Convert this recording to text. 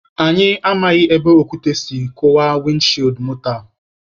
Anyi amaghị ebe okwute si kụwaa wịndị shiidi moto a.